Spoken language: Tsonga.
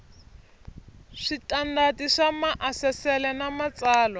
switandati swa maasesele na matsalwa